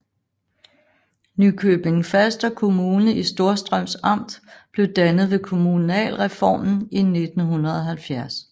Nykøbing Falster Kommune i Storstrøms Amt blev dannet ved kommunalreformen i 1970